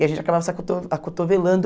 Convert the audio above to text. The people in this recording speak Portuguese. E a gente acabava se acoto acotovelando.